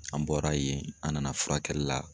An bɔra yen an nana furakɛli la.